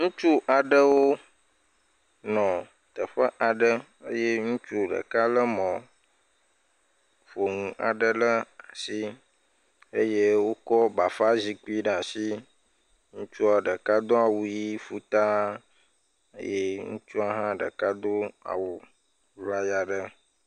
Ŋutsu aɖewo nɔ teƒe aɖe eye ŋutsu ɖeka le mɔƒonu aɖe ɖe asi eye wokɔ bafazikpui ɖe asi ŋutsua ɖeka awu ɣi fuu taa eye ŋutsu aɖe ha do awu ʋlaya aɖe